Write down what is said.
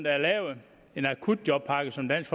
er lavet en akutjobpakke som dansk